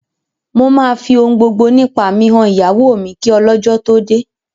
Mo máa fi ohun gbogbo nípa mi han ìyàwó mi kí ọlọ́jọ́ tó dé